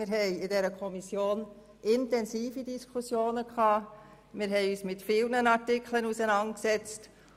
Wir hatten in der Kommission intensive Diskussionen und haben uns mit vielen Artikeln auseinandergesetzt.